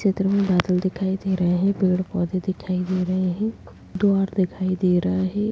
इस चित्र में बादल दिखाई दे रहे हैं पेड़-पौधे दिखाई दे रहे हैं द्वार दिखाई दे रहा है।